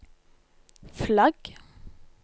flagg